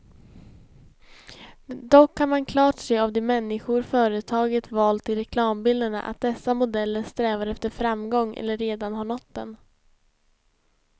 Dock kan man klart se av de människor företaget valt till reklambilderna, att dessa modeller strävar efter framgång eller redan har nått den.